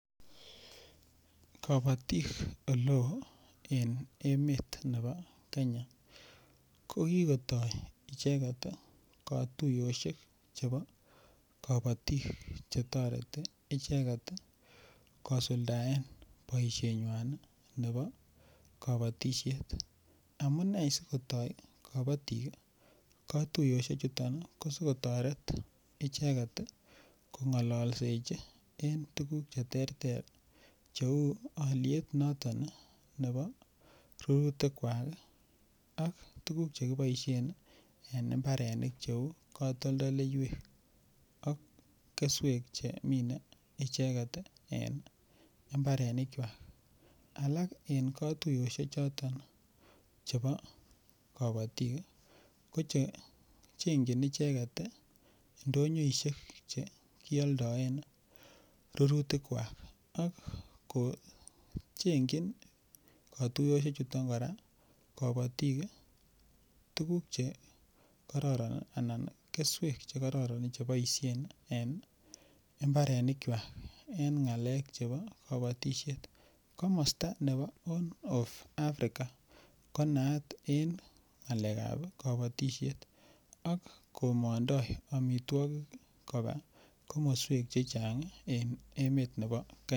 Kabatik Ole oo en emet nebo Kenya ko kikotoi icheget kotuyosyek chebo kabatik Che toreti icheget kosuldaen boisienywan nebo kabatisiet amune si kotoi kabatik kotuyosiechuto ko si kotoret icheget kongolsechi en tuguk Che terter Cheu alyet nebo rurutikwak ak tuguk Che kiboisien en mbarenik cheu katoldoleywek ak keswek Che kimine icheget en mbarenik kwak alak en katuyosiechoto chebo kabatik ko Che chengjin icheget ndonyoisiek Che kialdaen rurutik ak katuyosiechoto kora kabatik tuguk Che kororon anan keswek Che kororon Che boisien en mbarenik kwak en ngalek Che chebo kabatisiet komosta nebo horn of Africa ko naat en ngalekab kabatisiet ak komondoi amitwogik koba komoswek Che Chang en emet nebo Kenya